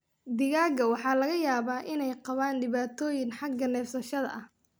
Digaagga waxaa laga yaabaa inay qabaan dhibaatooyin xagga neefsashada ah.